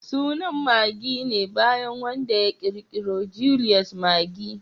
Sunan Maggi ne bayan wanda ya kirkiro Julius Maggi